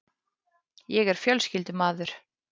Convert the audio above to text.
Ég er fjölskyldumaður.